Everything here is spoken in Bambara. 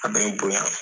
A bɛ n bonya